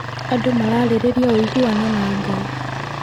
Andũ mararĩrĩria ũiguano na Ngai.